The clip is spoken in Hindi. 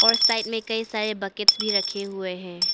और साइड में कई सारे बकेट्स भी रखे हुए हैं।